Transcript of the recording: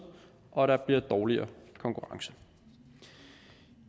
og at der bliver dårligere konkurrence